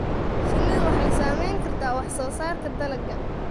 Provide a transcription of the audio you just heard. Shinnidu waxay saameyn kartaa wax soo saarka dalagga.